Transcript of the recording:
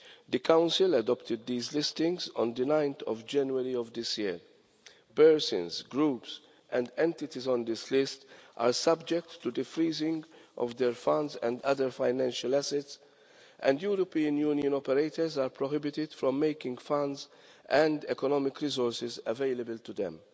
The Council adopted the list on 9 January this year. Persons, groups and entities on this list are subject to the freezing of their funds and other financial assets, and European Union operators are prohibited from making funds and economic resources available to them.